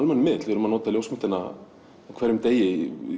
almennur miðill við erum að nota ljósmyndina á hverjum degi